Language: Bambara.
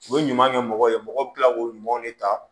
U bɛ ɲuman kɛ mɔgɔw ye mɔgɔw bɛ tila k'u ɲumanw de ta